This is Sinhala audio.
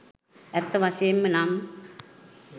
ඇත්ත වශයෙන්ම නම්